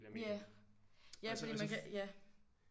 Ja ja fordi man kan ja